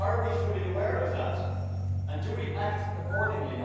And are we fully aware of that and do we act accordingly?